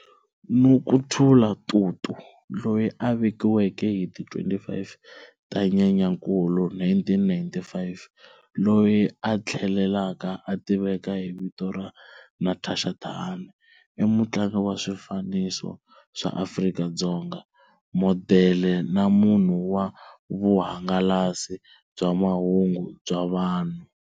Nokuthula Tutu, loyi a velekiweke hi ti 25 ta Nyenyankulu 1995, loyi a tlhelaka a tiveka hi vito ra Natasha Thahane, i mutlangi wa swifaniso swa Afrika-Dzonga, modele na munhu wa vuhangalasi bya mahungu bya vumunhu.